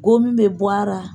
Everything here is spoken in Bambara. Gomi bɛ bɔ a ra.